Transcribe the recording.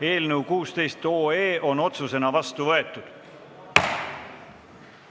Eelnõu 16 on otsusena vastu võetud.